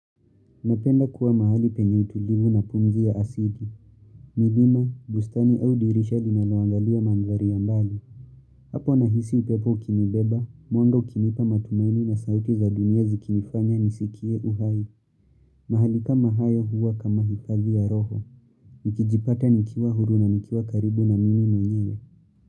Napenda kuwa mahali penye utulivu na pumzi ya asili. Mlima, bustani au dirisha linaloangalia mandhari ya mbali. Hapo nahisi upepo ukinibeba, mwanga ukinipa matumaini na sauti za dunia zikinifanya nisikie uhai. Mahali kama hayo huwa kama hifalia ya roho. Nikijipata nikiwa huru na nikiwa karibu na mimi mwenyewe.